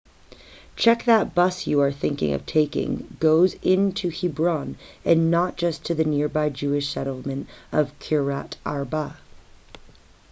check that the bus you are thinking of taking goes into hebron and not just to the nearby jewish settlement of kiryat arba